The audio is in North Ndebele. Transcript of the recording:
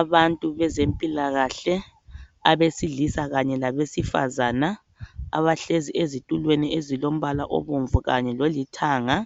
Abantu abezempilakahle abesilisa kanye labesifazane abahlezi ezitulweni ezibomvu kanye lolithanga